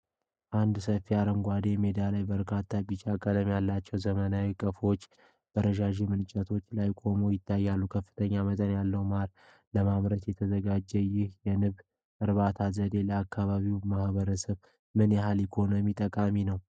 አንድ ሰፊ አረንጓዴ ሜዳ ላይ በርካታ ቢጫ ቀለም ያላቸው ዘመናዊ ቀፎዎች በረዣዥም እንጨቶች ላይ ቆመው ይታያሉ። ከፍተኛ መጠን ያለው ማር ለማምረት ተዘጋጅተዋል። ይህ የንብ እርባታ ዘዴ ለአካባቢው ማህበረሰብ ምን ያህል ኢኮኖሚያዊ ጠቀሜታ አለው?